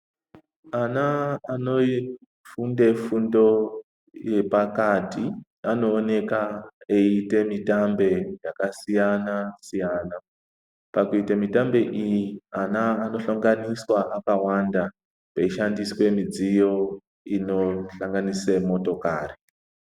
Ana anofunde fundo yepakati anooneka eiite mitambe yakasiyana-siyana. Pakuite mitambe iyi ana anohlanganiswa akawanda peishandiswe midziyo inosanganise motokari.